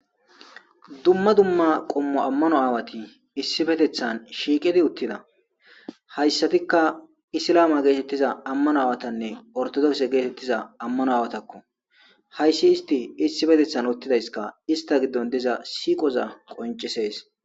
Dumma dumma qommo ammano aawati issibetethan shiikidi uttida hayssatikka isilaama geetettiza ammano aawatanne ortodokse geetettiza ammano aawatakko hayssi isti issibetethan uttidayska ista giddon diza siiqoza qoncisees